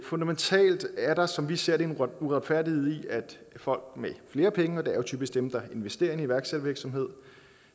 fundamentalt er der som vi ser det en uretfærdighed i at folk med flere penge og det er jo typisk dem der investerer i en iværksættervirksomhed